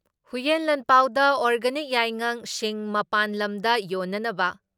ꯍꯨꯏꯌꯦꯟ ꯂꯥꯟꯄꯥꯎꯗ ꯑꯣꯔꯒꯥꯅꯤꯛ ꯌꯥꯏꯉꯪ, ꯁꯤꯡ ꯃꯄꯥꯟ ꯂꯝꯗ ꯌꯣꯟꯅꯅꯕ